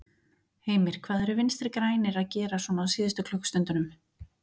Heimir: Hvað eru Vinstri-grænir að gera svona á síðust klukkustundunum?